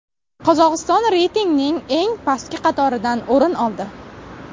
Qozog‘iston reytingning eng pastki qatoridan o‘rin oldi.